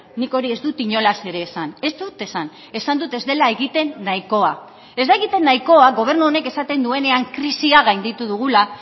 nik hori ez dut inolaz ere esan ez dut esan esan dut ez dela egiten nahikoa ez da egiten nahikoa gobernu honek esaten duenean krisia gainditu dugula